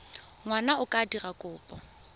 ngwana a ka dira kopo